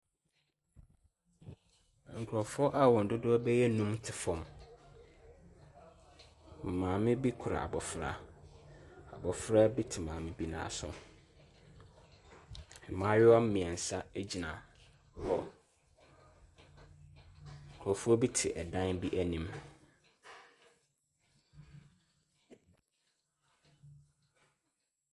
Nkurofoɔ a wɔn dodoɔ bɛyɛ num te fam. Maame bi kura abofra. Abofra bi te maame ne nan so. Mmaayiwa mmiɛnsa egyina hɔ. Nkurofoɔ bi te ɛdan bi anim.